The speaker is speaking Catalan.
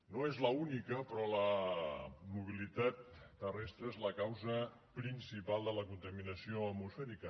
no és l’única però la mobilitat terrestre és la causa principal de la contaminació atmosfèrica